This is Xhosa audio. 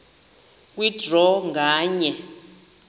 kwe draw nganye